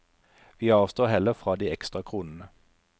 Vi avstår heller fra de ekstra kronene.